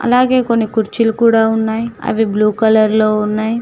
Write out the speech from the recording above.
అలాగే కొన్ని కుర్చీలు కూడా ఉన్నాయి అవి బ్లూ కలర్ లో ఉన్నాయి.